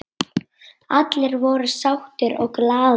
Allir voru sáttir og glaðir.